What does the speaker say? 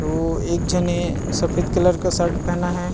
ओ एक झने सफेद कलर का शर्ट पहना है।